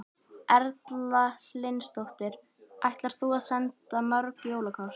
Erla Hlynsdóttir: Ætlar þú að senda mörg jólakort?